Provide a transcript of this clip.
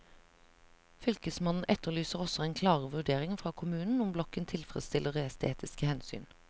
Fylkesmannen etterlyser også en klarere vurdering fra kommunen om blokken tilfredsstiller estetiske hensyn.